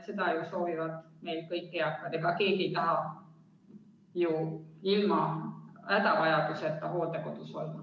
Seda soovivad meil kõik eakad, ega keegi ei taha ju ilma hädavajaduseta hooldekodus olla.